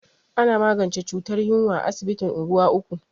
Ana magance cutar yunwa a asibitin unguwa uku.